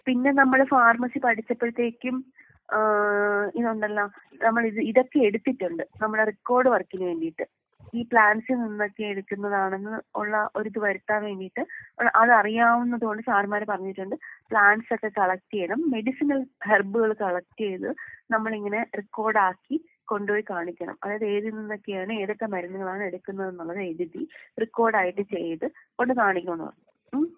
പിന്നെ നമ്മള് ഫാർമസി പഠിച്ചപ്പഴത്തേക്കും ഏഹ് ഇതുണ്ടല്ലോ നമ്മള് ഇത് ഇതൊക്കെയെടുത്തിട്ടുണ്ട് നമ്മളെ റെക്കോർഡ് വർക്കിന് വേണ്ടീട്ട്. ഈ പ്ലാന്റ്സിൽ നിന്നൊക്കെ എടുക്കുന്നതാണെന്ന് ഉള്ള ഒരിത് വരുത്താൻ വേണ്ടീട്ട് അതറിയാവുന്നത് കൊണ്ട് സാർമ്മാര് പറഞ്ഞിട്ടുണ്ട് പ്ലാന്റ്സൊക്കെ കളക്റ്റ് ചെയ്യണം മെഡിസിനൽ ഹെർബ്കള് കളക്റ്റ് ചെയ്ത് നമ്മളിങ്ങനെ റെക്കോർടാക്കി കൊണ്ട് പോയി കാണിക്കണം. അതായത് ഏതിൽ നിന്നൊക്കെയാണ് ഏതൊക്കെ മരുന്നുകളാണ് എടുക്കുന്നത് എന്നുള്ളത് എഴുതി റെക്കോർഡ് ആയിട്ട് ചെയ്ത് ഒന്ന് കാണിക്കണം എന്ന് പറഞ്ഞു ഉം.